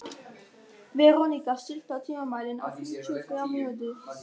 Leópold, er opið í Miðeind?